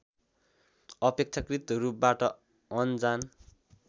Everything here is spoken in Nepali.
अपेक्षाकृत रूपबाट अनजान